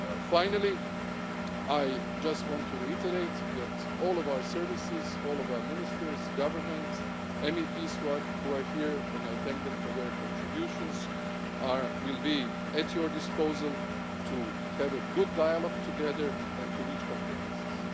come. Finally, I just want to reiterate that all of our services, all of our ministers, government, MEPs who are here and I thank them for their contributions will be at your disposal to have a good dialogue together and to reach compromises.